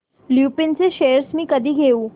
लुपिन चे शेअर्स मी कधी घेऊ